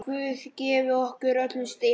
Guð gefi okkur öllum styrk.